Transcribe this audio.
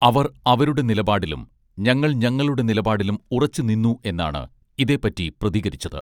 അവർ അവരുടെ നിലപാടിലും ഞങ്ങളൾ ഞങ്ങളുടെ നിലപാടിലും ഉറച്ചുനിന്നു എന്നാണ് ഇതേപ്പറ്റി പ്രതികരിച്ചത്